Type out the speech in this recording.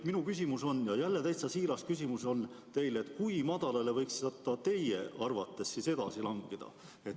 Minu küsimus teile on jälle täitsa siiras küsimus: kui madalale võiks see näitaja teie arvates edasi langeda?